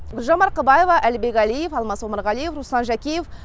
гүлжан марқабаева әлібек әлиев алмас омарғалиев руслан жакеев